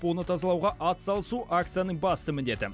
оны тазалауға ат салысу акцияның басты міндеті